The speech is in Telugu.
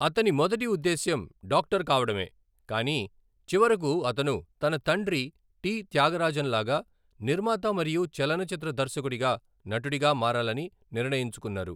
అతని మొదటి ఉద్దేశ్యం డాక్టర్ కావడమే, కానీ చివరకు అతను తన తండ్రి టి త్యాగరాజన్ లాగా నిర్మాత మరియు చలనచిత్ర దర్శకుడిగా, నటుడిగా మారాలని నిర్ణయించుకున్నారు.